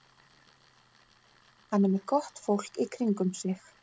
Hann er með gott fólk í kringum sig.